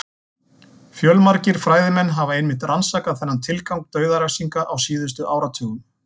Fjölmargir fræðimenn hafa einmitt rannsakað þennan tilgang dauðarefsinga á síðustu áratugum.